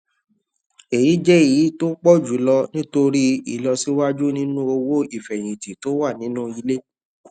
èyí jẹ èyí tó pò jù lọ nítorí ìlọsíwájú nínú owó ìfèyìntì tó wà nínú ilé